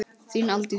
Þín Aldís.